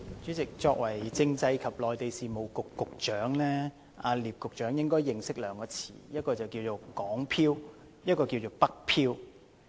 主席，作為政制及內地事務局局長，聶局長應該認識兩個詞語："港漂"和"北漂"。